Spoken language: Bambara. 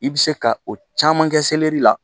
I bɛ se ka o caman kɛ la